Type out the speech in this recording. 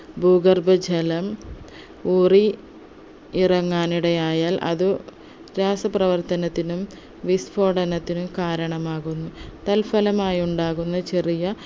ഭൂഗർഭജലം ഊറി ഇറങ്ങാൻ ഇടയായാൽ അത് രാസപ്രവർത്തനത്തിനും വിസ്ഫോടനത്തിനും കാരണമാകുന്നു തൽഫലമായി ഉണ്ടാകുന്ന ചെറിയ